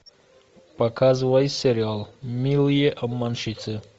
показывай сериал милые обманщицы